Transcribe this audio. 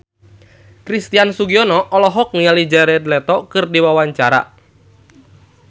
Christian Sugiono olohok ningali Jared Leto keur diwawancara